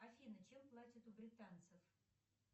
афина чем платят у британцев